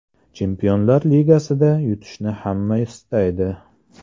Chempionlar ligasida yutishni hamma istaydi.